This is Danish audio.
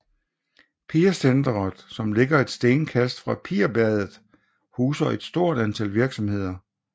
Pirsenteret som ligger et stenkast fra Pirbadet huser et stort antal virksomheder